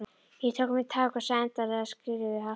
Ég tók mér tak og sagði endanlega skilið við hassið.